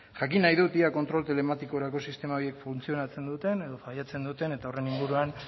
jakin nahi dut ea kontrol telematikorako sistema horiek funtzionatzen duten edo failatzen duten eta horren inguruan